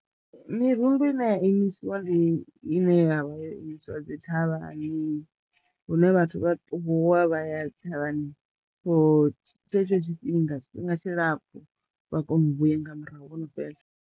Mirundu ine ya imisiwa ndi ine ya vha yo imisiwa dzi thavhani hune vhathu vha ṱuwa vha ya thavhani for tshetsho tshifhinga tshifhinga tshilapfu vha kono u vhuya nga murahu vho no fhedza.